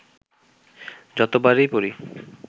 যতবারই পড়ি